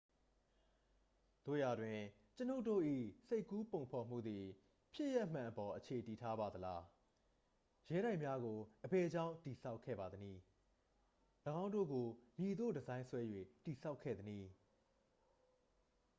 သို့ရာတွင် ကျွန်ုပ်တို့၏ စိတ်ကူးပုံဖော်မှုသည် ဖြစ်ရပ်မှန်အပေါ် အခြေတည်ထားပါသလား ရဲတိုက်များကို အဘယ်ကြောင့် တည်ဆောက်ခဲ့ပါသနည်း ၎င်းတို့ကို မည်သို့ ဒီဇိုင်းဆွဲ၍ တည်ဆောက်ခဲ့သနည်း